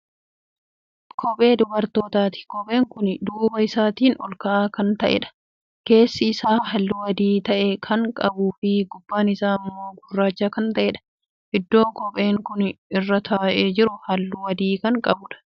Kophee dubartootaati. kopheen Kuni duuba isaatiin olka'aa Kan ta'eedha. keessi Isaa halluu adii ta'e Kan qabuufi gubbaan Isaa immoo gurraacha Kan ta'eedha. iddoon kopheen Kuni irra taa'ee jiru halluu adii Kan qabuudha.